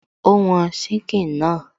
Ó wọn síkìn náà